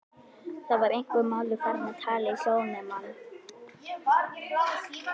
Það var einhver maður farinn að tala í hljóðnema.